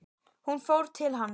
Hún fór til hans.